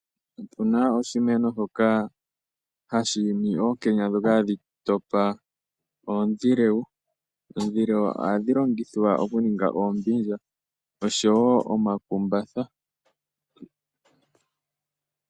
Okuna oshimeno shoka hashi yimi ookenya dhoka hadhi topa oondjilewu, oondjilewu ohadhi longithwa oku ninga oombindja oshowo omakumbatha.